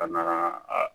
Ka na a